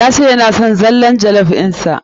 Ya ce yana son zallar jollof ɗin sa.